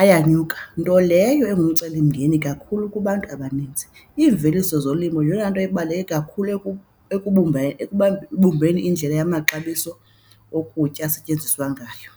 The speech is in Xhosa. ayanyuka nto leyo engumcelimngeni kakhulu kubantu abaninzi. Iimveliso zolimo yeyona nto ibaluleke kakhulu ekubumbeni indlela yamaxabiso okutya esetyenziswa ngayo.